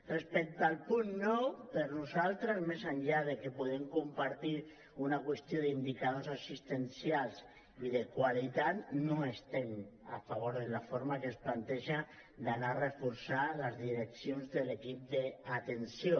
respecte al punt nou per nosaltres més enllà que podem compartir una qüestió d’indicadors assistencials i de qualitat no estem a favor de la forma com es planteja d’anar a reforçar les direccions de l’equip d’atenció